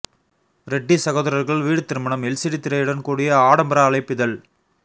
ரெட்டி சகோதரர்கள் வீடு திருமணம் எல்சிடி திரையுடன் கூடிய ஆடம்பர அழைப்பிதழ்